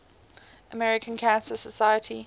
american cancer society